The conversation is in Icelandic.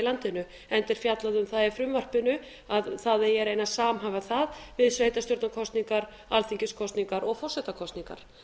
landinu enda er fjallað um það í frumvarpinu að það eigi að reyna að samhæfa það við sveitarstjórnarkosningar alþingiskosningar og forsetakosningar